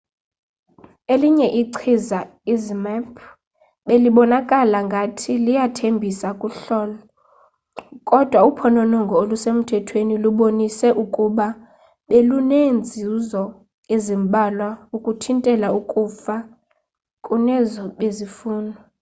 elinye ichiza izmapp belibonakala ngathi liyathembisa kuhlolo kodwa uphononongo olusemthethweni lubonise ukuba beluneenzuzo ezimbalwa zokuthintela ukufa kunezo bezifunwa